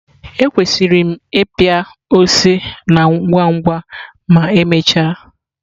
Ekwesịrị m ịpịa ose na ngwa ngwa ma emechaa?